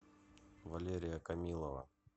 валерия камилова